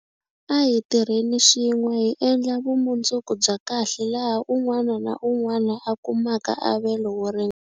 A hi tirheni swin'we hi endla vumundzuku bya kahle laha un'wana na un'wana a kumaka avelo wo ringana.